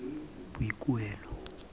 boikuelo